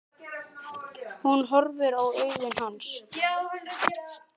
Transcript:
Hún horfir í augu hans.